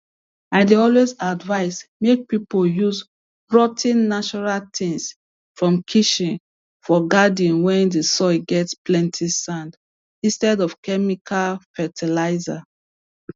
i dey always advice make people use rot ten natural things from kitchen for garden when the soil get plenty sand instead of chemical fertilizers